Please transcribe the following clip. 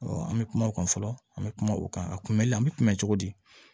an bɛ kuma o kan fɔlɔ an bɛ kuma o kan a kun bɛ an bɛ kunbɛn cogo di